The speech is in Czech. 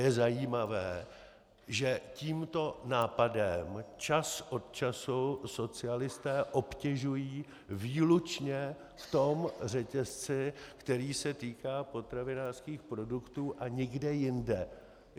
Je zajímavé, že tímto nápadem čas od času socialisté obtěžují výlučně v tom řetězci, který se týká potravinářských produktů, a nikde jinde.